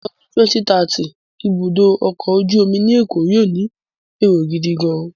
Ní ọdún 2030, ibùdó ọkọ̀ ojú omi Èkó yóó ní èrò gidigan-an.